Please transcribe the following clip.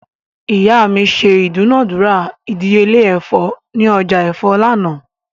Iya mi ṣe idunadura idiyele ẹfọ ni ọja ẹfọ lánà